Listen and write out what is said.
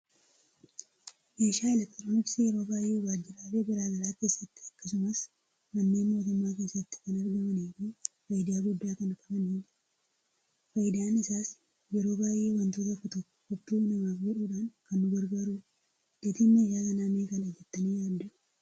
Meeahaa elektirinooksii yeroo baay'ee wajjirale garaagaraa keessatti, akkasumas manneen mootumma keessatti kan argamanii fi faayida gudda kan qabanidha. Faayidaan isaas yeroo baay'ee wantoota tokko, tokko kooppii namaf godhudhan kan nu gargaaruudha. Gatiin meeshaa kana meeqadha jettani yaaddu